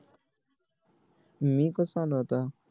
मी कस आणू आता